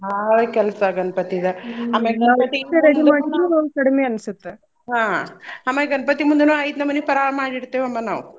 ಭಾಳ್ ಕೆಲ್ಸ ಗಣ್ಪತಿದ ಅಮ್ಯಾಗ ನಾವ್ ಓಟ ಮಾಡಿದ್ರು ಕಡಿಮೆ ಅನ್ಸುತ್ತ.ಹಾ ಆಮೇಲ್ ಗಣ್ಪತಿ ಮುಂದನು ಐದ್ನಮ್ನಿ ಪಳಾರ್ ಮಾಡ್ ಇಡ್ತೀವಮ್ಮ ನಾವ್.